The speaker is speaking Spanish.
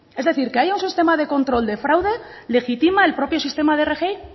es decir que haya un sistema de control de fraude legitima el propio sistema de rgi